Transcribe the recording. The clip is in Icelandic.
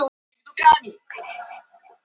Hún sagði skilmerkilega frá göngukonunni.